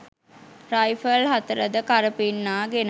rifle හතරද කරපින්නාගෙන